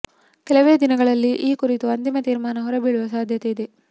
ಕೆಲವೇ ದಿನಗಳಲ್ಲಿ ಈ ಕುರಿತು ಅಂತಿಮ ತಿರ್ಮಾನ ಹೊರಬೀಳುವ ಸಾಧ್ಯತೆ ಇದೆ